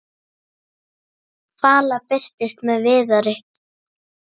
Vala birtist með Viðari.